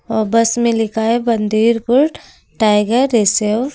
अ bus में लिखा है बंदेरपुर टाइगर रिसेव ।